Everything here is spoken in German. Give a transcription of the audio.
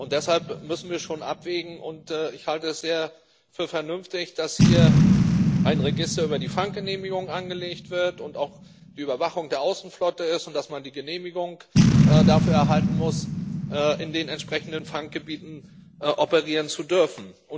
Deshalb müssen wir schon abwägen, und ich halte es für sehr vernünftig, dass hier ein Register über die Fanggenehmigungen angelegt wird und auch die Überwachung der Außenflotte sichergestellt ist und dass man die Genehmigung dafür erhalten muss, in den entsprechenden Fanggebieten operieren zu dürfen.